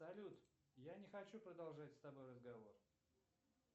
салют я не хочу продолжать с тобой разговор